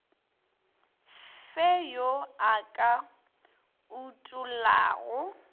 fe yo a ka utollago